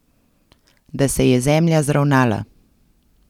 Da se je zemlja zravnala.